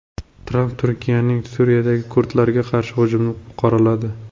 Tramp Turkiyaning Suriyadagi kurdlarga qarshi hujumini qoraladi.